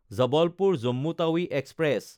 জবলপুৰ–জম্মু Tawi express